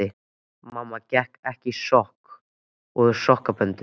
Mamma gekk ekki í sokkum og sokkaböndum.